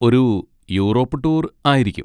ഒരു Europe tour ആയിരിക്കും.